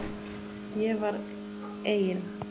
Ég var eigin